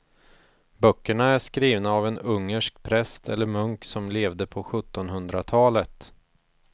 Böckerna är skrivna av en ungersk präst eller munk som levde på sjuttonhundratalet.